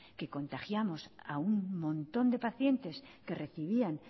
que contagiamos a un montón de pacientes que recibían